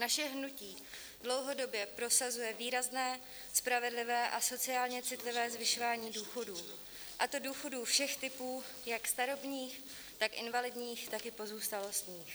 Naše hnutí dlouhodobě prosazuje výrazné, spravedlivé a sociálně citlivé zvyšování důchodů, a to důchodů všech typů, jak starobních, tak invalidních, tak i pozůstalostních.